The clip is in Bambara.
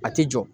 A ti jɔ